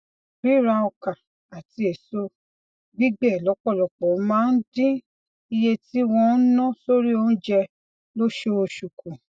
rírà ọkà àti èso gbígbẹ lópòlọpò máa ń dín iye tí wón ń ná sórí oúnjẹ lóṣooṣù kù